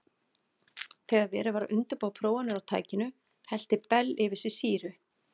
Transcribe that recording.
Þegar verið var að undirbúa prófanir á tækinu hellti Bell yfir sig sýru.